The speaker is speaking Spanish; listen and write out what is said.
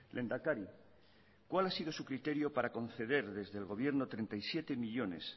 lehendakari cuál ha sido su criterio para conceder desde el gobierno treinta y siete millónes